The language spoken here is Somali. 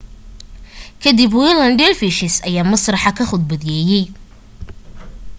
ka dib whirling dervishes ayaa masraxa ka khudbeeyay